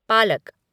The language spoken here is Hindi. पालक